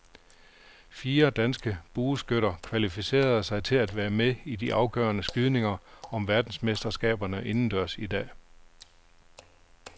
Fire danske bueskytter kvalificerede sig til at være med i de afgørende skydninger om verdensmesterskaberne indendørs i dag.